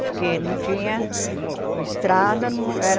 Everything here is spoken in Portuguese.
Porque não tinha... Estrada não era...